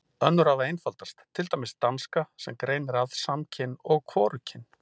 Önnur hafa einfaldast, til dæmis danska sem greinir að samkyn og hvorugkyn.